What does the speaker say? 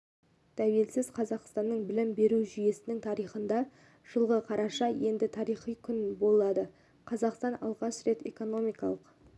тәуелсіз қазақстанның білім беру жүйесінің тарихында жылғы қараша енді тарихи күн болады қазақстан алғаш рет экономикалық